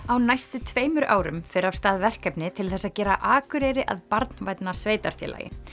á næstu tveimur árum fer af stað verkefni til þess að gera Akureyri að barnvænna sveitarfélagi